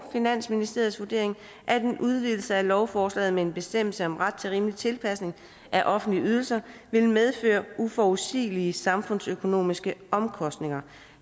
finansministeriets vurdering at en udvidelse af lovforslaget med en bestemmelse om ret til rimelig tilpasning af offentlige ydelser vil medføre uforudsigelige samfundsøkonomiske omkostninger